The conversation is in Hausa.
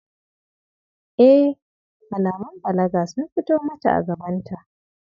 Eh! Alamun balaga sun fito mata a gabanta.